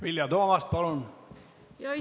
Vilja Toomast, palun!